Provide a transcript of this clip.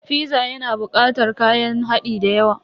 Fiza yana bukatar kayan hadi dayawa.